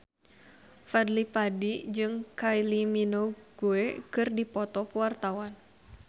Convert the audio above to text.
Fadly Padi jeung Kylie Minogue keur dipoto ku wartawan